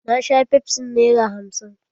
Na sha fefsin nera hamsin.